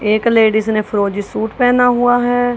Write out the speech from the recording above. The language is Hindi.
एक लेडिस ने फिरोजी सूट पहना हुआ है।